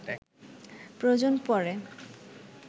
প্রয়োজন পড়ে